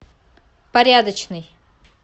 порядочный